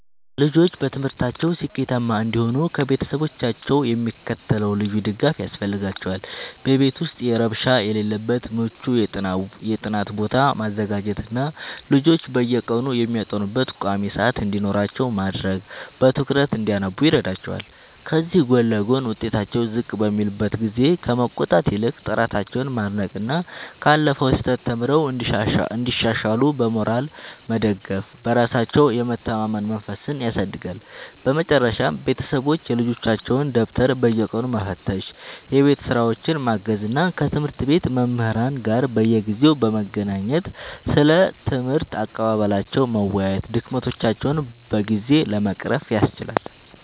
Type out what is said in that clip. ልጆች በትምህርታቸው ስኬታማ እንዲሆኑ ከቤተሰቦቻቸው የሚከተለው ልዩ ድጋፍ ያስፈልጋቸዋል፦ በቤት ውስጥ ረብሻ የሌለበት ምቹ የጥናት ቦታ ማዘጋጀትና ልጆች በየቀኑ የሚያጠኑበት ቋሚ ሰዓት እንዲኖራቸው ማድረግ በትኩረት እንዲያነቡ ይረዳቸዋል። ከዚህ ጎን ለጎን፣ ውጤታቸው ዝቅ በሚልበት ጊዜ ከመቆጣት ይልቅ ጥረታቸውን ማድነቅና ካለፈው ስህተት ተምረው እንዲሻሻሉ በሞራል መደገፍ በራሳቸው የመተማመን መንፈስን ያሳድጋል። በመጨረሻም ቤተሰቦች የልጆቻቸውን ደብተር በየቀኑ መፈተሽ፣ የቤት ሥራቸውን ማገዝ እና ከትምህርት ቤት መምህራን ጋር በየጊዜው በመገናኘት ስለ ትምህርት አቀባበላቸው መወያየት ድክመቶቻቸውን በጊዜ ለመቅረፍ ያስችላል።